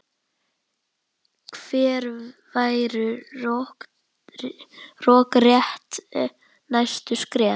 Hver væru rökrétt næstu skref?